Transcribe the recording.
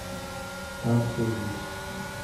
танцы улиц